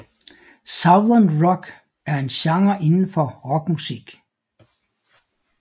Southern rock er en genre indenfor rockmusik